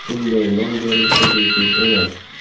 Bunday nom berilishi bejiz emas.